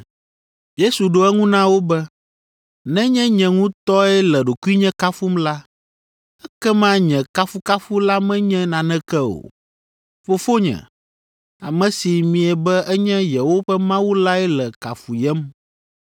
Yesu ɖo eŋu na wo be, “Nenye nye ŋutɔe le ɖokuinye kafum la, ekema nye kafukafu la menye naneke o. Fofonye, ame si miebe enye yewoƒe Mawu lae le kafuyem.